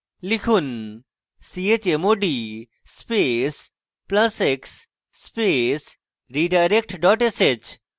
লিখুন: chmod space plus x space redirect dot sh